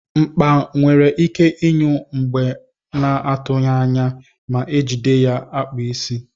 Mkpa nwere ike inyụ mgbe na atughi anya ma ejide ya akpụ isi.